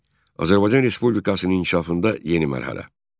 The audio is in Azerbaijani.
Azərbaycan Respublikasının inkişafında yeni mərhələ.